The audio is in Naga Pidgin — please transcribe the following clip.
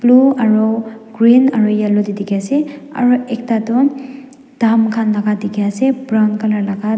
blue aro green aru yellow tae dikhiase aro ekta toh dam khan la dikhiase brown colour laka.